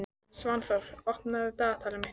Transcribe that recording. Svanþór, opnaðu dagatalið mitt.